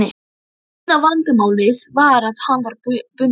Eina vandamálið var að hann var bundinn.